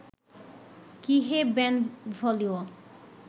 কী হে বেনভোলিও